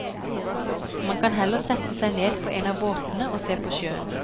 Man kan heller sette seg ned på en av båtene og se på sjøen.